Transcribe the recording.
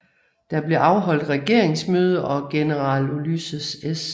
Der blev afholdt regeringsmøde og general Ulysses S